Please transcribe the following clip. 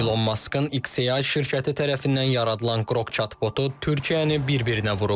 İlon Maskın XAI şirkəti tərəfindən yaradılan Qrok chatbotu Türkiyəni bir-birinə vurub.